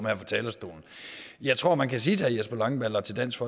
her fra talerstolen jeg tror at man kan sige til herre jesper langballe og til dansk